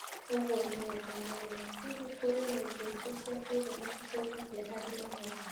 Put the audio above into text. ũguo nĩ wega mũno. Hihi, kũrĩ na indo ingĩ cia kĩroho citeithagia harĩ mahoya?